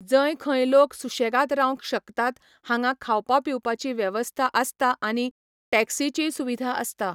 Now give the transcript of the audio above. जंय खंय लोक सुशेगाद रावंक शकतात हांगा खावपा पिवपाची वेवस्था आसता आनी टॅक्सिचीय सुविधा आसता.